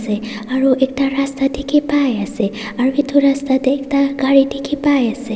se aru ekta rasta dikhipaiase aru edu rasta tae ekta gari dikhipaiase.